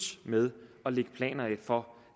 med at lægge planer for